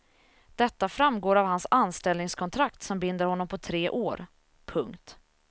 Detta framgår av hans anställningskontrakt som binder honom på tre år. punkt